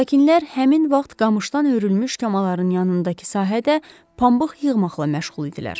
Sakinlər həmin vaxt qamışdan hörülmüş kamaların yanındakı sahədə pambıq yığmaqla məşğul idilər.